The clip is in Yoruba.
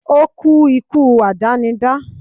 ó kú ikú àdánidá